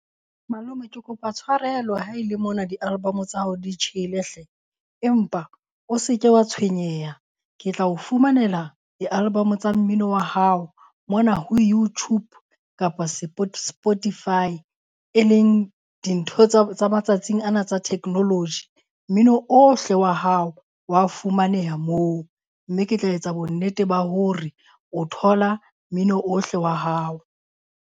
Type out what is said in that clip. Malome ke kopa tshwarelo ha e le mona di-album tsa hao di tjhele hle. Empa o se ke wa tshwenyeha ke tla o fumanela di-album tsa mmino wa hao mona ho YouTube kapa Spotify, e leng dintho tsa matsatsing ana tsa technology. Mmino ohle wa hao wa fumaneha moo. Mme ke tla etsa bonnete ba hore o thola mmino ohle wa hao.